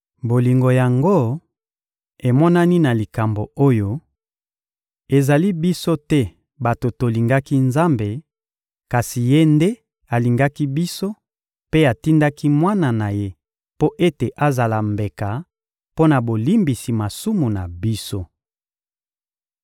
Bolingo yango emonani na likambo oyo: ezali biso te bato tolingaki Nzambe, kasi Ye nde alingaki biso mpe atindaki Mwana na Ye mpo ete azala mbeka mpo na bolimbisi masumu na biso.